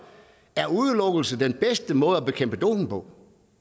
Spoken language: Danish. om udelukkelse er den bedste måde at bekæmpe doping på